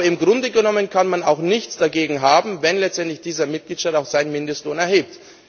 Aber im Grunde genommen kann man auch nichts dagegen haben, wenn letztendlich dieser Mitgliedstaat auch seinen Mindestlohn erhebt.